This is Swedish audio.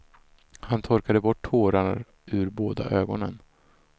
Han torkade bort tårar ur båda ögonen.